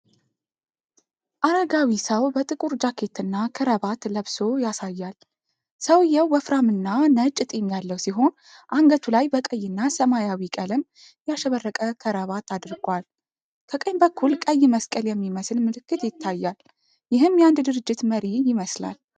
አረጋዊ ሰው በጥቁር ጃኬትና ክራባት ለብሶ ያሳያል። ሰውየው ወፍራምና ነጭ ጢም ያለው ሲሆን አንገቱ ላይ በቀይና ሰማያዊ ቀለም ያሸበረቀ ክራባት አድርጓል። ከቀኝ በኩል ቀይ መስቀል የሚመስል ምልክት ይታያል። ይህም የአንድ ድርጅት መሪ ይመስላል።